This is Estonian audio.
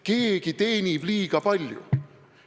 Keegi teenib liiga palju.